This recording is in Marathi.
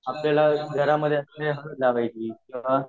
आपल्याला घरामध्ये असलेल्या हळद लावायची